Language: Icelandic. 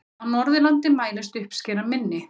Á Norðurlandi mælist uppskeran minni.